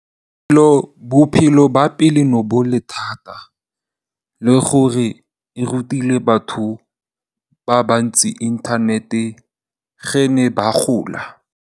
Bophelo ba pele bo ne bo le thata, le gore e rutile batho ba ba ntsi inthanete ge ne ba gola.